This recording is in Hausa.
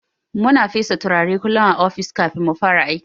Muna fesa turare kullun a ofis kafin mufara aiki.